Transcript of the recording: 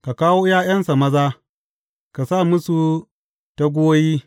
Ka kawo ’ya’yansa maza ka sa musu taguwoyi.